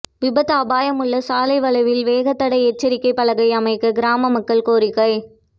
விபத்து அபாயமுள்ள சாலை வளைவில் வேகத்தடை எச்சரிக்கைப் பலகை அமைக்க கிராம மக்கள் கோரிக்கை